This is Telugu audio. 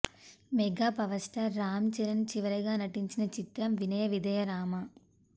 mega power star Ram Charan చివరగా నటించిన చిత్రం వినయ విధేయ రామ